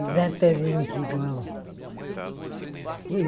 Exatamente igual.